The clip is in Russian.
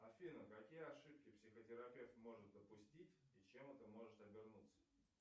афина какие ошибки психотерапевт может допустить и чем это может обернуться